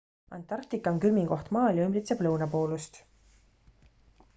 antarktika on külmim koht maal ja ümbritseb lõunapoolust